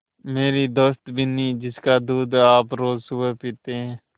मेरी दोस्त बिन्नी जिसका दूध आप रोज़ सुबह पीते हैं